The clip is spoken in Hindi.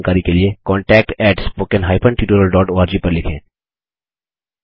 अधिक जानकारी के लिए contactspoken tutorialorg पर लिखें